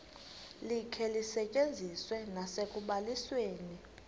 likhe lisetyenziswe nasekubalisweni